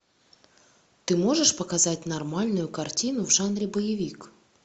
ты можешь показать нормальную картину в жанре боевик